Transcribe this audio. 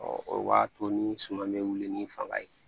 o b'a to ni suman bɛ wuli ni fanga ye